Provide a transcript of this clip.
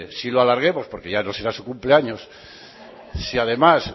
sí lo alarguemos porque ya no será su cumpleaños si además